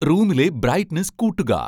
റൂമിലെ ബ്രൈറ്റ്നസ് കൂട്ടുക